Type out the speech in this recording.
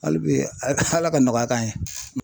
Hali bi Ala ka nɔgɔya k'an ye.